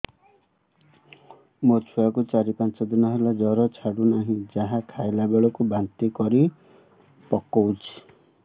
ମୋ ଛୁଆ କୁ ଚାର ପାଞ୍ଚ ଦିନ ହେଲା ଜର ଛାଡୁ ନାହିଁ ଯାହା ଖାଇଲା ବେଳକୁ ବାନ୍ତି କରି ପକଉଛି